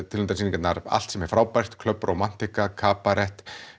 tilnefndar allt sem er frábært Club Romantica kabarett